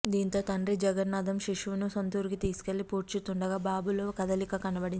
దీంతో తండ్రి జగన్నాధం శిశువును సొంతూరికి తీసుకెళ్లి పూడ్చుతుండగా బాబులో కదలిక కనపడింది